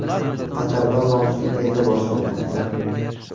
Qatarda mavsum endi boshlanmoqda.